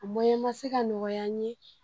A ma se ka nɔgɔya n ye